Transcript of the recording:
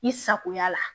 I sagoya la